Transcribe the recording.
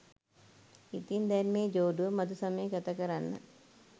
ඉතින් දැන් මේ ජෝඩුව මධුසමය ගතකරන්න